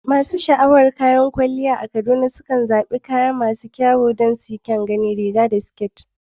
Masu sha'awar kwalliya a Kaduna sukan zaɓi kayan kwalliya irin na riga da siket don kyan gani.